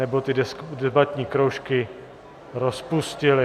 Nebo ty debatní kroužky rozpustili!